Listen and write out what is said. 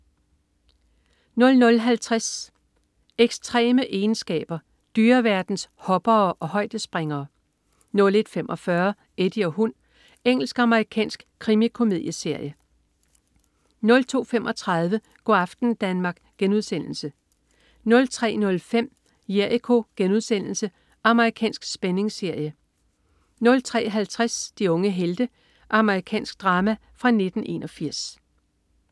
00.50 Ekstreme egenskaber. Dyreverdens "hoppere" og højdespringere 01.45 Eddie og hund. Engelsk-amerikansk krimikomedieserie 02.35 Go' aften Danmark* 03.05 Jericho.* Amerikansk spændingsserie 03.50 De unge helte. Amerikansk drama fra 1981